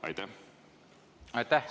Aitäh!